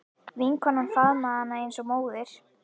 Vinkonan faðmaði hana eins og móðir.